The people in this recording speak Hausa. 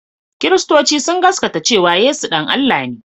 Kiristoci sun gasgaata cewa Yesu ɗan Allah ne